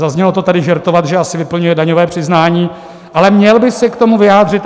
zaznělo to tady - žertovat, že asi vyplňuje daňové přiznání, ale měl by se k tomu vyjádřit.